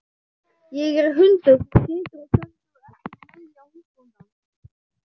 Ég er hundur sem situr og stendur eftir vilja húsbóndans.